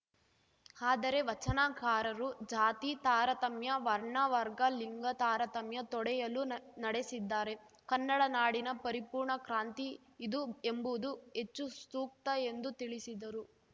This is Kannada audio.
ಆದರೆ ವಚನಕಾರರು ಜಾತಿ ತಾರತಮ್ಯ ವರ್ಣವರ್ಗಲಿಂಗ ತಾರತಮ್ಯ ತೊಡೆಯಲು ನ ನಡೆಸಿದ್ದಾರೆ ಕನ್ನಡ ನಾಡಿನ ಪರಿಪೂರ್ಣ ಕ್ರಾಂತಿ ಇದು ಎಂಬುದು ಹೆಚ್ಚು ಸೂಕ್ತ ಎಂದು ತಿಳಿಸಿದರು